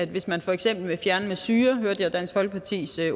hvis man for eksempel vil fjerne med syre hørte dansk folkepartis